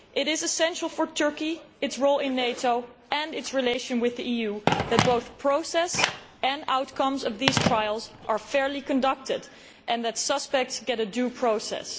It is essential for Turkey, its role in NATO and its relations with the EU that both process and outcomes of these trials are fairly conducted and that suspects get a due process.